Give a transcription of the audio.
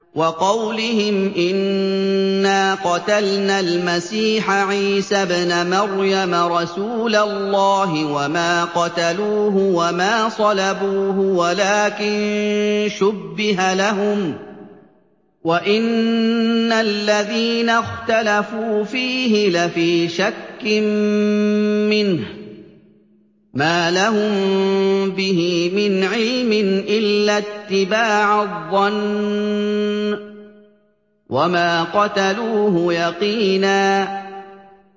وَقَوْلِهِمْ إِنَّا قَتَلْنَا الْمَسِيحَ عِيسَى ابْنَ مَرْيَمَ رَسُولَ اللَّهِ وَمَا قَتَلُوهُ وَمَا صَلَبُوهُ وَلَٰكِن شُبِّهَ لَهُمْ ۚ وَإِنَّ الَّذِينَ اخْتَلَفُوا فِيهِ لَفِي شَكٍّ مِّنْهُ ۚ مَا لَهُم بِهِ مِنْ عِلْمٍ إِلَّا اتِّبَاعَ الظَّنِّ ۚ وَمَا قَتَلُوهُ يَقِينًا